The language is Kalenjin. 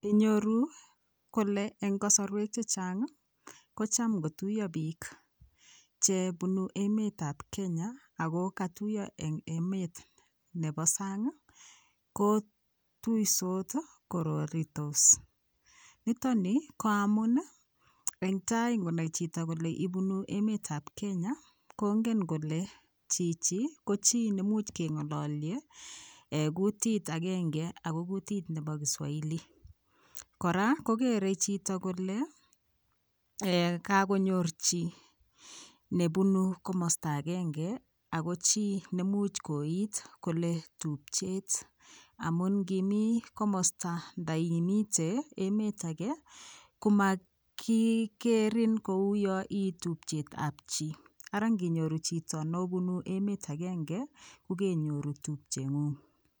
Inyoruu kole eng kosorwek chechang kocham ngotuyo biik chebunu emet ab Kenya Ako katuyo eng emet nebo sang kotutos kororitos nitoni ko amun eng tai ngonai chito kole ibunuu emet ab Kenya kongen kole chichi ko chii much kengololye kutit agenge Ako kutit nebo kiswahili kora kokerei chito kole kakonyor chii nebunu komosta agenge Ako chii nemuch koit kole tupchet amun ngimii komosta nda imite emet age komakigerin kouyoo ii tubchet ab chii Ara nginyoru chito nobunu emet agenge ko keinyoru tupchengung